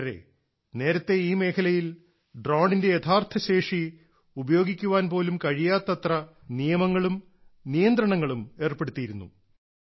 കൂട്ടരേ നേരത്തെ ഈ മേഖലയിൽ ഡ്രോണിന്റെ യഥാർത്ഥശേഷി ഉപയോഗിക്കാൻ പോലും കഴിയാത്തത്ര നിയമങ്ങളും നിയന്ത്രണങ്ങളും ഏർപ്പെടുത്തിയിരുന്നു